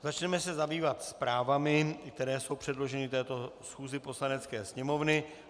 Začneme se zabývat zprávami, které jsou předloženy této schůzi Poslanecké sněmovny.